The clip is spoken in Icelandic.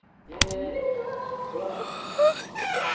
stofnendum sem ekki voru hluthafar, forkaupsrétt að hlutum.